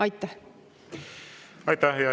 Aitäh!